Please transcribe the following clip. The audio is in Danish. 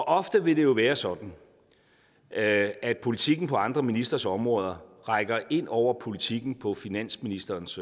ofte vil det jo være sådan at at politikken på andre ministres områder rækker ind over politikken på finansministerens